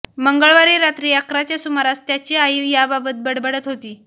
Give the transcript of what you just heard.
मंगळवारी रात्री अकराच्या सुमारास त्याची आई याबाबत बडबडत होती